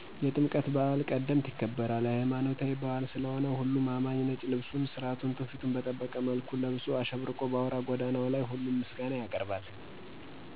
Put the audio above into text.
የጥምቀት በአል ቀድምቀት ይከበራል። የለይማኖታዊበአል ስለሆነሁሉም አማኚ ነጭ ልብሱን ስራቱና ትውፊቱን በጠበቀ መልኩ ለብሶ አሸብርቆ በአውራ ጎዳናው ላይ ሁሉም ምስጋና ያቀርባል።